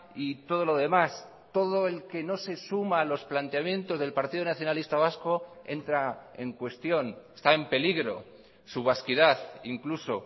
y todo lo demás todo el que no se suma a los planteamientos del partido nacionalista vasco entra en cuestión está en peligro su vasquidad incluso